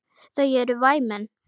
Þau eru væmin.